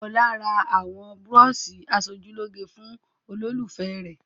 Ọlá ra àwọn búrọ́ṣì aṣojúlóge fún olólùfẹ́ rẹ̀.